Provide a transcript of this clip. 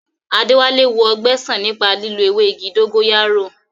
Adéwálé wo ọgbẹ́ sàn nípa lílo ewé dógóyárò